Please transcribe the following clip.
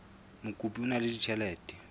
mokopi o na le ditjhelete